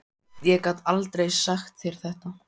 Ég gat aldrei sagt þér þetta.